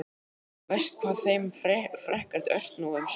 Verst hvað þeim fækkar ört nú um stundir.